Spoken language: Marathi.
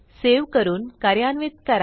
सेव्ह करून कार्यान्वित करा